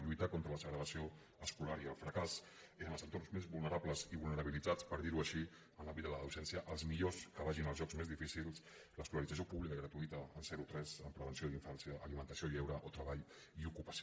lluitar contra la segregació escolar i el fracàs en els entorns més vulnerables i vulnerabilitzats per dirho així en l’àmbit de la docència els millors que vagin als llocs més difícils l’escolarització pública gratuïta zerotres amb prevenció d’infància alimentació i lleure o treball i ocupació